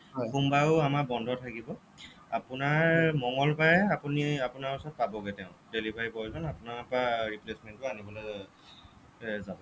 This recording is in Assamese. সোমবাৰেও আমাৰ বন্ধ থাকিব আপোনাৰ মঙ্গলবাৰে আপুনি আপোনাৰ ওচৰ পাবগে তেওঁ delivery boy জন আপোনাৰ পৰা replacement টো আনিবলৈ যাব